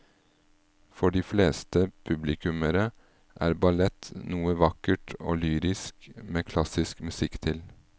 For de fleste publikummere er ballett noe vakkert og lyrisk med klassisk musikk til.